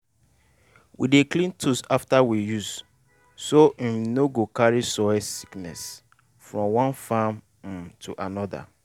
we dey clean tools after use so um no go carry soil sickness from one farm um to another.